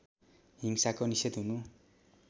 हिंसाको निषेध हुनु